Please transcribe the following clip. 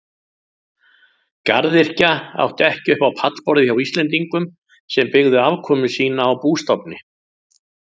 Garðyrkja átti ekki upp á pallborðið hjá Íslendingum sem byggðu afkomu sína á bústofni.